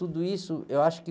Tudo isso, eu acho que...